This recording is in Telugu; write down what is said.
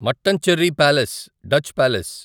Mattancherry palace Dutch palace